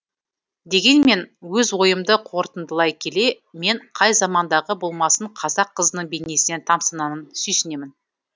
дегенмен өз ойымды қорытындылай келе мен қай замандағы болмасын қазақ қызының бейнесіне тамсанамын сүйсінемін